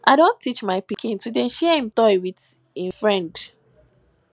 i don teach my pikin to dey share him toy wit im friend